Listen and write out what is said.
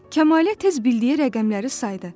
Kəmalə tez bildiyi rəqəmləri saydı.